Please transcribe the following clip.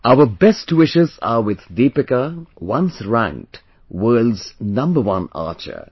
Our best wishes are with Deepika, once ranked world's number one archer